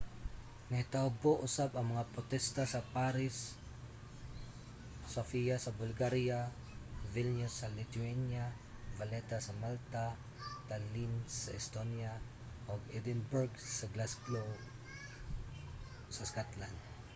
nahitabo usab ang mga potesta sa paris sofia sa bulgaria vilnius sa lithuania valetta sa malta tallinn sa estonia ug edinburgh ug glasgow sa scotland